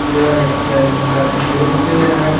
यह एक सैलून का दृश्य है।